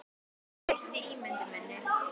Það breytti ímynd minni.